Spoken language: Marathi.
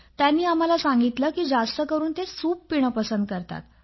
त्यांनी आम्हाला सांगितलं की जास्तकरून ते सूप पिणं पसंत करतात